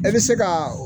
E bɛ se kaa